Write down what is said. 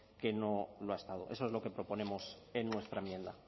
que no ha estado eso es lo que proponemos en nuestra enmienda